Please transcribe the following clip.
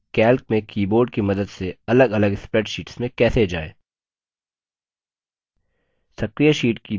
अब हम सीखेंगे कि calc में keyboard की मदद से अलगअलग spreadsheets में कैसे जाएँ